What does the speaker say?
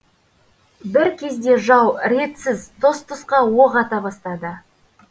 бір кезде жау ретсіз тұс тұсқа оқ ата бастады